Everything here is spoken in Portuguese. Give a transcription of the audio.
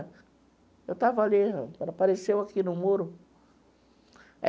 Eu estava ali, ela apareceu aqui no muro.